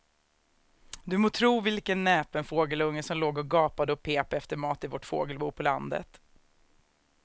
Du må tro vilken näpen fågelunge som låg och gapade och pep efter mat i vårt fågelbo på landet.